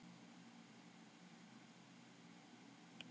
Kristín: Hvað kostar það?